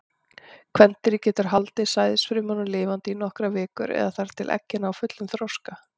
Kvendýrið getur haldið sæðisfrumunum lifandi í nokkrar vikur, eða þar til eggin ná fullum þroska.